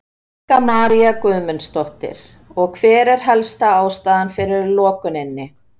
Helga María Guðmundsdóttir: Og hver er helsta ástæðan fyrir lokuninni?